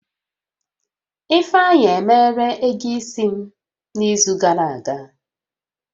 Ifeanyi emeela ego isi m n'izu gàrà aga